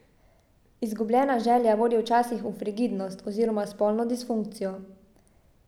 Izgubljena želja vodi včasih v frigidnost oziroma spolno disfunkcijo.